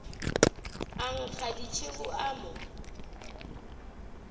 a nkga tšhego o mo